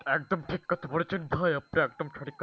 একদম ঠিক কথা বলেছেন দোহাই আপনার একদম ঠিক কথা,